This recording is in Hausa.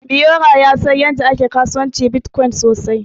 Biyora ya san yadda ake kasuwancin Bitcoin sosai.